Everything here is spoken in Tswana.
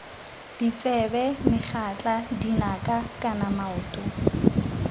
ditsebe megatla dinaka kana maoto